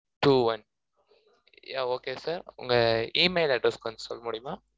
two one yeah okay sir உங்க email address கொஞ்சம் சொல்ல முடியுமா two one